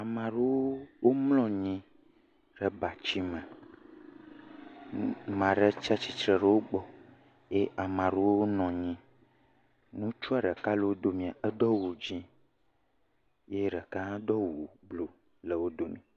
Amaa ɖewo womlɔ nyi ɖe batsime. Maa ɖe tsia tsitre ɖe wogbɔ, ye maa rewo nɔ nyi. Ŋutsua ɖeka le wo domea, edo awu dzẽ, ye ɖeka hã do awu bluu le wo dome.